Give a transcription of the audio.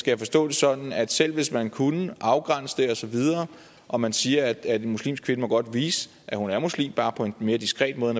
jeg forstå det sådan at selv hvis man kunne afgrænse det og så videre og man siger at en muslimsk kvinde godt må vise at hun er muslim bare på en mere diskret måde